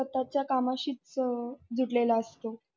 स्वतःच्या कामाशीच अ जुडलेला असतो.